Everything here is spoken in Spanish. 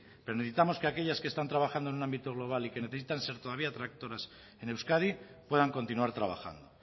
pero necesitamos que aquellas que están trabajando en un ámbito global y que necesitan ser todavía tractoras en euskadi puedan continuar trabajando